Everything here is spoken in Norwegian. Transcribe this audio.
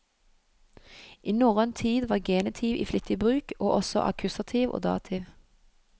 I norrøn tid var genitiv i flittig bruk, og også akkusativ og dativ.